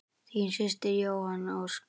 Þín systir Jóhanna Ósk.